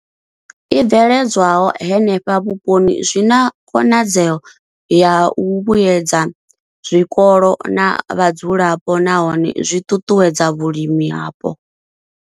I bveledzwaho henefho vhuponi zwi na khonadzeo ya u vhuedza zwikolo na vhadzulapo nahone zwi ṱuṱuwedza vhulimi hapo.